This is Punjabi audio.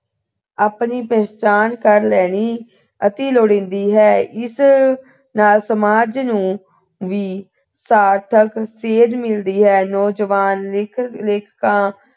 ਆਪਣੀ ਪਹਿਚਾਣ ਕਰ ਲੈਣੀ ਅਤਿ ਲੋੜੀਂਦੀ ਹੈ ਇਸ ਨਾਲ ਸਮਾਜ ਨੂੰ ਵੀ ਸਾਰਥਕ ਸੇਧ ਮਿਲਦੀ ਹੈ ਨੌਜਵਾਨ ਲੇਖਕ ਲੇਖਿਕਾ